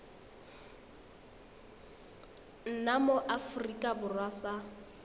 nna mo aforika borwa sa